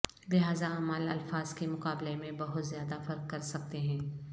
لہذا اعمال الفاظ کے مقابلے میں بہت زیادہ فرق کر سکتے ہیں